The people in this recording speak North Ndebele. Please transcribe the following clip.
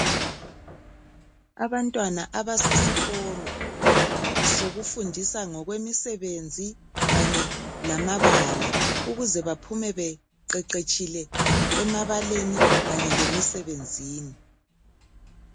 Abantwana abasesikolo sokufundisa ngokwemisebenzi kanye lamabala ukuze baphume beqeqetshile emabaleni kanye lemisebenzini.